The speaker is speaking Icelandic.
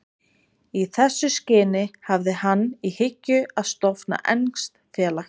Í þessu skyni hafði hann í hyggju að stofna enskt félag.